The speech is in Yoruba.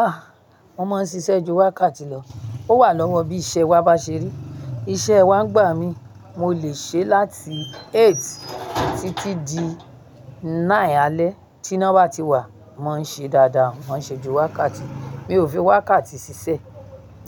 Ah! Mo máa ń ṣiṣẹ́ ju wákàtí lọ. Ó wà lọ́wọ́ bí iṣẹ́ wa bá ṣe rí. Iṣẹ́ wa ń gbà mí, mo lè ṣe láti eight títí di nine alẹ́. Ti ina bá ti wà, mo màá n ṣe dáadáa, mo màá n ṣe ju wákàtí. Mi ò fi wákàtí ṣiṣẹ́,